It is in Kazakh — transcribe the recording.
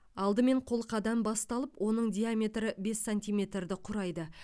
алдымен қолқадан басталып оның диаметрі бес сантиметрді құрайды